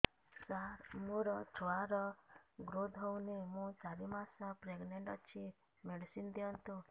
ସାର ମୋର ଛୁଆ ର ଗ୍ରୋଥ ହଉନି ମୁ ଚାରି ମାସ ପ୍ରେଗନାଂଟ ଅଛି ମେଡିସିନ ଦିଅନ୍ତୁ